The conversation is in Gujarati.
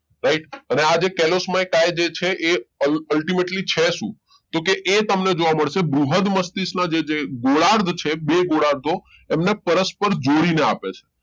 right અને આ જે kelosmoky જે છે એ ultimately છે શું તો કે એ તમને જોવા મળશે બૃહદ મસ્તિષ્કના જે ગોળાર્ધ છે બે ગોળાર્ધો એમને પરસ્પર જોડીને આપે છે